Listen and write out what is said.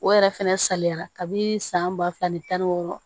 O yɛrɛ fɛnɛ salenyara kabini san ba fila ni tan ni wɔɔrɔ